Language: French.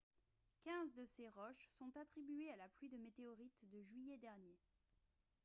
quinze de ces roches sont attribuées à la pluie de météorites de juillet dernier